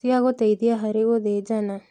Cia gũteithia harĩ gũthĩnjana